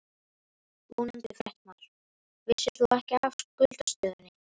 Ónefndur fréttamaður: Vissir þú ekki af skuldastöðunni?